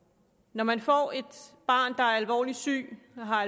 når man får et barn der er alvorligt sygt har